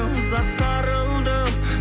ұзақ сарылдым